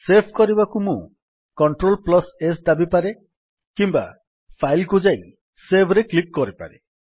save କରିବାକୁ ମୁଁ Clts ଦାବିପାରେ କିମ୍ୱା ଫାଇଲ୍ କୁ ଯାଇ ସେଭ୍ ରେ କ୍ଲିକ୍ କରିପାରେ